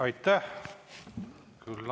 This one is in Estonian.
Aitäh!